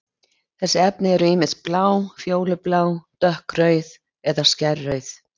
Þessi efni eru ýmist blá, fjólublá, dökkrauð eða skærrauð.